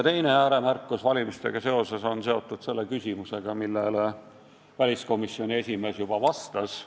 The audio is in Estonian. Teine ääremärkus valimistega seoses on seotud selle küsimusega, millele väliskomisjoni esimees juba vastas.